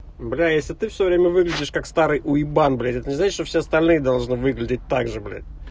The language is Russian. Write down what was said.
бля если ты всё время выглядишь как старый уебан блять это не значит что все остальные должны выглядеть так же блять